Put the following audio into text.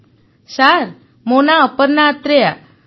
Aparna sir ମୋ ନାଁ ଅପର୍ଣ୍ଣା ଆତ୍ରେୟା